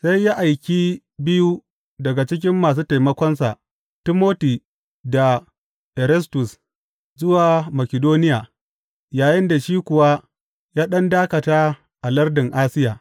Sai ya aiki biyu daga cikin masu taimakonsa, Timoti da Erastus, zuwa Makidoniya, yayinda shi kuwa ya ɗan dakata a lardin Asiya.